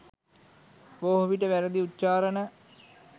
බොහෝවිට වැරදි උච්චාරණ,